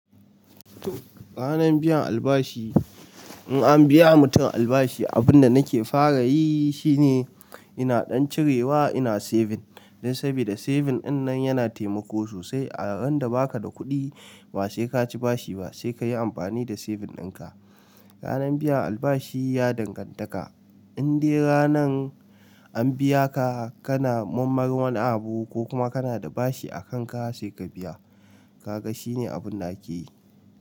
Ranar biyan albashi, in an biya mutum albashi abunda nake fara yi shi ne ina ɗan cirewa ina saving dan saboda saving dinnan yana taimako sosai a ran da baka da kuɗi ba sai kaci bashi ba sai kayi amfani da saving dinka. Ranar biyan albashi ya danganta ka, indai ranan an biya ka kana murmari wani abu kokuma kana da bashi a kan ka sai ka biya. Kaga shine abunda ake yi.